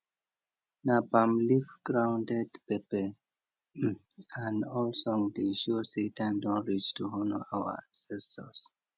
na palm leaf grounded pepper um and old song dey show say time don reach to honour our ancestors